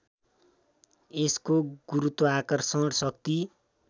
यसको गुरुत्वाकर्षण शक्ति